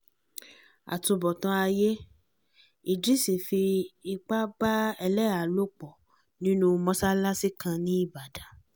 àtúbọ̀tán ayé idris fipá bá ẹlẹ́hàá lò pọ̀ nínú mọ́ṣáláṣí kan nìbàdàn